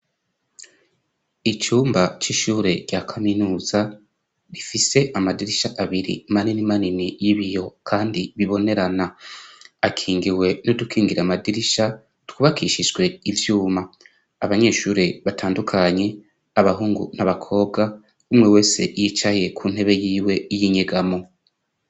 Icumba c'ishure rya kaminuza rifise amadirisha abiri manini manini y'ibiyo kandi bibonerana. Akingiwe n'udukingira amadirisha twubakishijwe ivyuma. Abanyeshure batandukanye, abahungu n'abakobwa umwe wese yicaye ku ntebe yiwe y'inyegamo.